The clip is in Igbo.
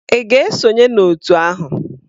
Ị ga-esonye n'òtù ahụ?